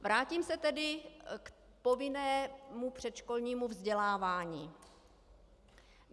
Vrátím se tedy k povinnému předškolnímu vzdělávání.